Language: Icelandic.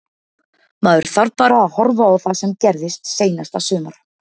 Maður þarf bara að horfa á það sem gerðist seinasta sumar.